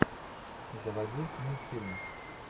заводи мультфильмы